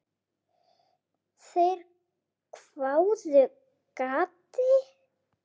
Þeir hváðu: Gati?